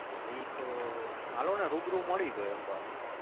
ઈ તો હાલોને રૂબરૂ મળયી તો એક વાર